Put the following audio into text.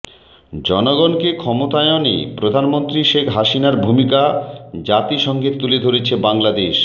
জনগণকে ক্ষমতায়নে প্রধানমন্ত্রী শেখ হাসিনার ভূমিকা জাতিসংঘে তুলে ধরেছে বাংলাদেশ